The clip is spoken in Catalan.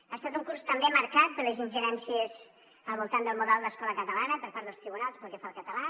ha estat un curs també marcat per les ingerències al voltant del model d’escola catalana per part dels tribunals pel que fa al català